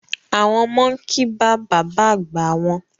Àwọn ọmọ n kì bá bàbá àgbá wọn